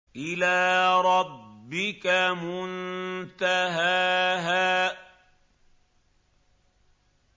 إِلَىٰ رَبِّكَ مُنتَهَاهَا